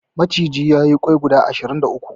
Maciji ya yi ƙwai guda ashirin da uku.